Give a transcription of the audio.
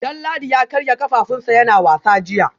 Danladi ya karya kafafunsa yana wasa jiya